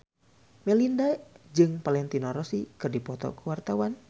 Melinda jeung Valentino Rossi keur dipoto ku wartawan